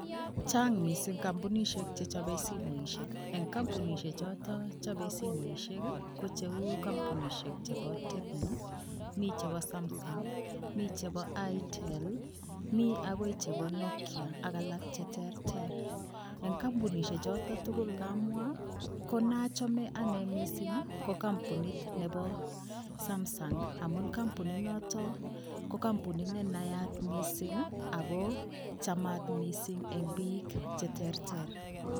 Chang mising kampunisyek chechabe simoisyek, eng kampunisyek choton chabe simoisyek ko cheu kampunisyek chebo TECNO ,mi chebo SAMSUNG, mi chebo ITEL ,mi akoi chebo NOKIA ak alak cheterter eng kampunisyek choton tukul kamwa, ko nachame anee mising ko kampunit nebo SAMSUNG amun kampunit noto ko kampunit ne nayat mising ako chamat mising eng bik cheterter.